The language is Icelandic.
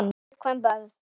Fyrir viðkvæm börn.